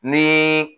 Ni